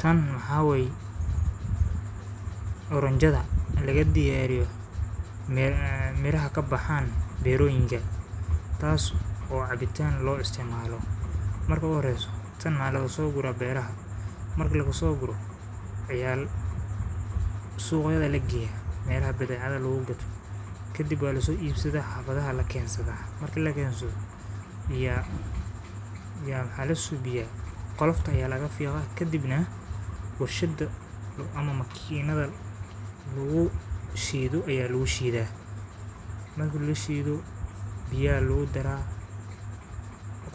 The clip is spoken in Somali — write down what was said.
Tan waxaa wey oranjayada laga diyaariyo mira ah ka baxan beeroyinka taas oo cabitaan lo isticmaalo. Marka horeysu tan maxa lasoo gurra beeraha marka lagu soo gurro waxayal suuyada la geyay meel baddecaada lagu gadho kadib waaliso iibsado hafadaha la keensada marka la keenso biyaa yama halisubiyaa qolofta ayaa laga fiqo ka dibna hawshidda ama makiinada lagu shiidu ayaa lu shiidah marka la shiidu biyaa lu dar ah